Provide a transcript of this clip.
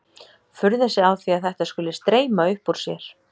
Furðar sig á því að þetta skuli streyma upp úr sér.